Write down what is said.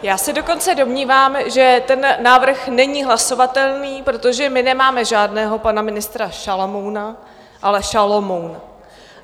Já se dokonce domnívám, že ten návrh není hlasovatelný, protože my nemáme žádného pana ministra Šalamouna, ale Šalomouna.